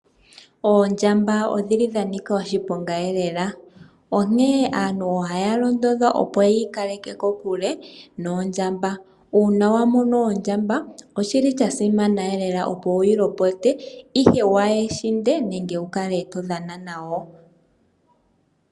Oondjamba odhili dhanika oshiponga eelela onkee aantu ohaya londodha opo yiikaleke kokule noondjamba uuna wamono oondjamba oshili shasimana wuyi lopote ihe waa hishinde nenge todhana nayo.